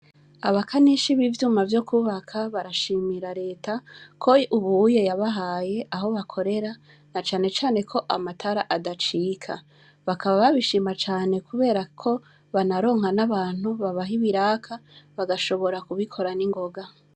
Abakanishi b'ivyuma vyo kubaka barashimira leta ko ubuye yabahaye aho bakorera na canecane ko amatara adacika bakaba babishima cane, kubera ko banaronka n'abantu babaha ibiraka bagashobora kubikora n'ingoga.